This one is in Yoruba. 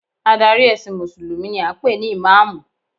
Adarí ẹ̀sìn mùsùlùmí ni a ń pè ní ìmáàmù